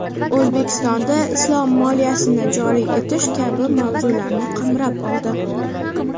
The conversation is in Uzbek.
O‘zbekistonda islom moliyasini joriy etish kabi mavzularni qamrab oldi.